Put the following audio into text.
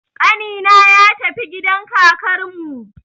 Ƙanina ya tafi gidan kakarmu